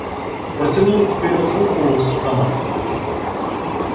протянул вперёд руку с автоматом